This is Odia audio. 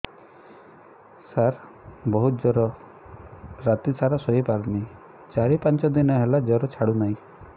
ସାର ବହୁତ ଜର ରାତି ସାରା ଶୋଇପାରୁନି ଚାରି ପାଞ୍ଚ ଦିନ ହେଲା ଜର ଛାଡ଼ୁ ନାହିଁ